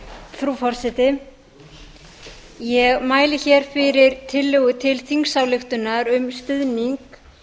frú forseti ég mæli hér fyrir tillögu til þingsályktunar um stuðning